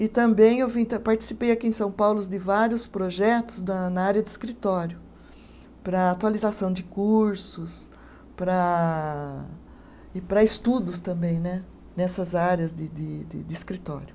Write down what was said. E também eu vim ta, participei aqui em São Paulo de vários projetos da na área de escritório, para atualização de cursos para, e para estudos também né, nessas áreas de de de de escritório.